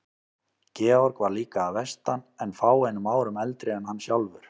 Georg var líka að vestan en fáeinum árum eldri en hann sjálfur.